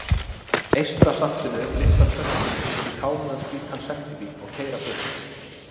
Eystrasaltinu lyfta töskunni upp í kámugan hvítan sendibíl og keyra burt.